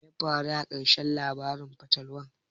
Menene ya faru a ƙarshen labarin fatalwar?